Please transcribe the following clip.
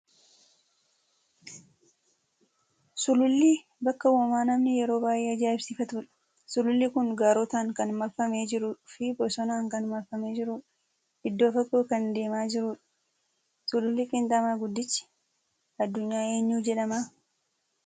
Suluulli bakka uumamaa namni yeroo baay'ee ajaa'ibsiifatudha. Suluulli kun gaarotaan kan maarfamee jiruu fi bosonaan kan marfamee jiru dha. Iddoo fagoo kan deemaa jirudha. Suluulli qiinxamaa guddichi addunyaa eenyu jedhama?